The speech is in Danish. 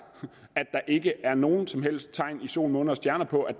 at der ikke er nogen som helst tegn i sol måne og stjerner på at